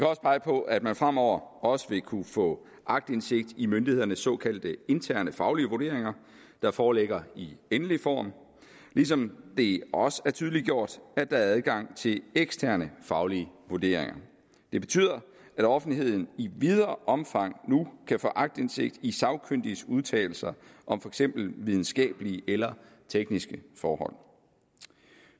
også pege på at man fremover også vil kunne få aktindsigt i myndighedernes såkaldte interne faglige vurderinger der foreligger i endelig form ligesom det også er tydeliggjort at der er adgang til eksterne faglige vurderinger det betyder at offentligheden i videre omfang nu kan få aktindsigt i sagkyndiges udtalelser om for eksempel videnskabelige eller tekniske forhold